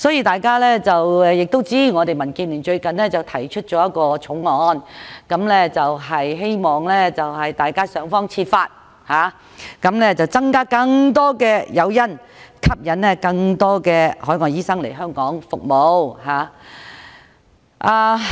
大家都知道，民建聯最近提出了一項法案，希望想方設法增加更多誘因，吸引更多海外醫生來港服務。